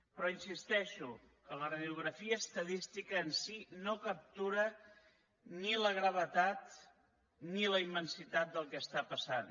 però insisteixo que la radiografia estadística en si no captura ni la gravetat ni la immensitat del que està passant